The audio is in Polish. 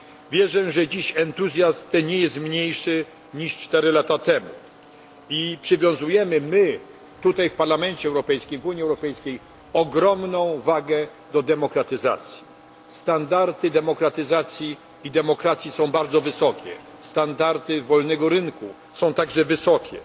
Wierzę, że dziś entuzjazm ten nie jest mniejszy niż cztery lata temu my tutaj w Parlamencie Europejskim, w Unii Europejskiej przywiązujemy ogromną wagę do demokratyzacji. Standardy demokratyzacji i demokracji są bardzo wysokie, standardy wolnego rynku są także wysokie